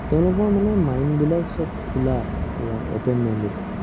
তেওঁলোকৰ মানে mind বিলাক সৱ খোলা। পোৰা open minded